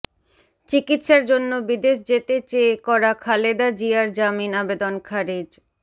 চিকিৎসার জন্য বিদেশ যেতে চেয়ে করা খালেদা জিয়ার জামিন আবেদন খারিজ